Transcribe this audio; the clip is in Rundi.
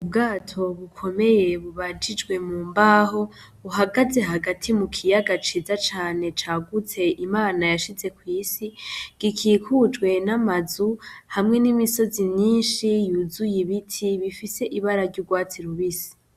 Ubwato bikomeye bubajije mumbaho buhagaze hagati mukiyaga ciza cane cagutse Imana yashize kwisi gikikujwe namazu hamwe n'imisozi myinshi yuzuye ibiti bifise ibara ryurwatsi rubisi.